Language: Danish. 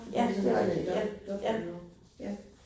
Det var sådan sådan et dobbeltnavn ja